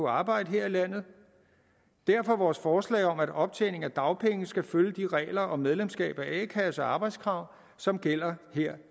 arbejde her i landet derfor vores forslag om at optjening af dagpenge skal følge de regler om medlemskab af a kasse og arbejdskrav som gælder her